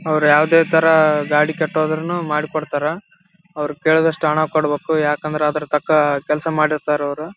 ಅವ್ರು ಯಾವುದೇ ತರ ಗಾಡಿ ಕೆಟ್ಟೋದ್ರುನೂ ಮಾಡಿ ಕೊಡ್ತಾರ ಅವ್ರು ಕೇಳಿದಷ್ಟು ಹಣ ಕೊಡ್ಬೇಕು ಯಾಕಂದ್ರೆ ಅದ್ರ ತಕ್ಕ ಕೆಲ್ಸ ಮಾಡಿರ್ತಾರೆ ಅವ್ರು.